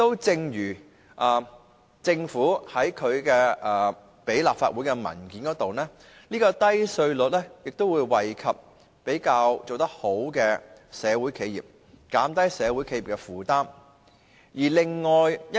正如政府向立法會提交的文件所指，低稅率會惠及做得比較好的社會企業，減低社會企業的負擔。